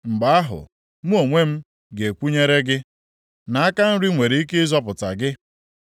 Mgbe ahụ, mụ onwe m ga-ekwenyere gị, na aka nri nwere ike ịzọpụta gị.